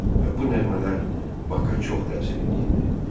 Və bu nəğmələr Bak-a çox təsir eləyirdi.